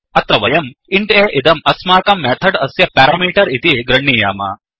अत्र वयंint aइदं अस्माकं मेथड् अस्य पेरामीटर् इति गृह्णीयाम